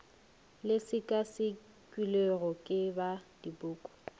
le sekasekilwego ke ba dipuku